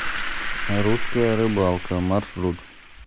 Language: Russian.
русская рыбалка маршрут